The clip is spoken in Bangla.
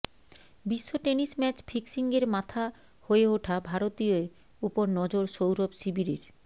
বিশ্ব টেনিস ম্যাচ ফিক্সিংয়ের মাথা হয়ে ওঠা ভারতীয়ের ওপর নজর সৌরভ শিবিরের